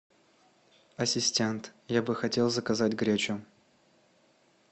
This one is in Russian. ассистент я бы хотел заказать гречу